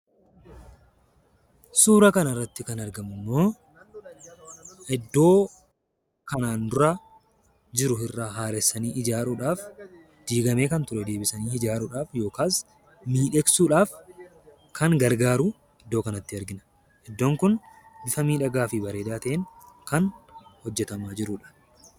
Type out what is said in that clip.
Suura kana irratti kan argamu immoo, iddoo kanaan dura jiru irraa haaressanii ijaaruudhaaf diigamee kan ture, deebisanii ijaaruudhaaf yookaan miidhagsuudhaaf kan gargaaru iddoo kanatti argina. Iddoon Kun bifa miidhagaa fi bareedaa ta'een kan hojjetamaa jirudha.